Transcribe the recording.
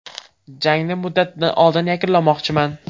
Jangni muddatidan oldin yakunlamoqchiman.